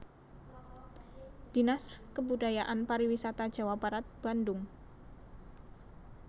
Dinas Kebudayaan Pariwisata Jawa Barat Bandung